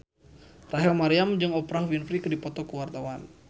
Rachel Maryam jeung Oprah Winfrey keur dipoto ku wartawan